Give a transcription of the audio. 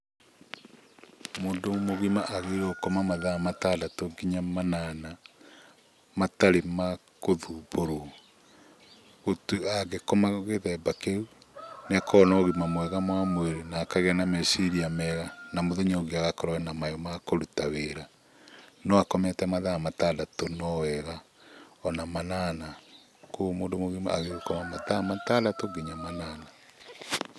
Mũndũ mũgima agĩrĩirwo gũkoma mathaa matandatũ kinya manana, matarĩ ma gũthumbũrwo. Angĩkoma gĩthemba kĩu nĩakoragwo na ũgima mwega wa mwĩrĩ na akagĩa na meciria mega na mũthenya ũyũ ũngĩ agakorwo ena mayũ ma kũruta wĩra. No akomete mathaa matandatũ no wega, ona manana, kuoguo mũndũ mũgima agĩrĩirwo gũkoma mathaa matandatũ kinya manana.